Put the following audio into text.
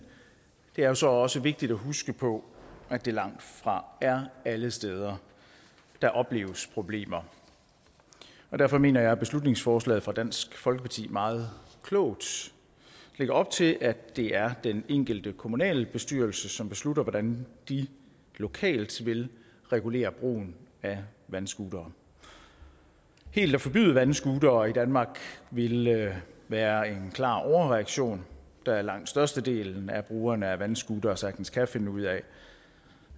det er så også vigtigt at huske på at det langtfra er alle steder der opleves problemer derfor mener jeg at beslutningsforslaget fra dansk folkeparti meget klogt lægger op til at det er den enkelte kommunalbestyrelse som beslutter hvordan de lokalt vil regulere brugen af vandscootere helt at forbyde vandscootere i danmark ville være en klar overreaktion da langt størstedelen af brugerne af vandscootere sagtens kan finde ud af